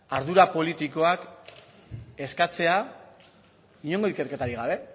ardura politikoak eskatzea inongo ikerketarik gabe